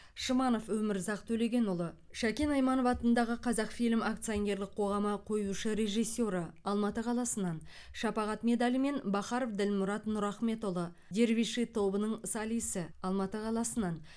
шманов өмірзақ төлегенұлы шәкен айманов атындағы қазақфильм акционерлік қоғамы қоюшы режиссеры алматы қаласынан шапағат медалімен бахаров ділмұрат нұрахметұлы дервиши тобының солисі алматы қаласынан